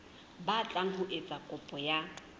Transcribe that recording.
batlang ho etsa kopo ya